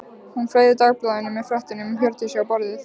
Hún fleygði dagblaðinu með fréttinni um Hjördísi á borðið.